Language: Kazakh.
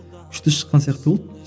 күшті шыққан сияқты болды